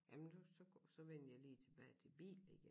Jamen nu så går så vendte jeg lige tilbage til bil igen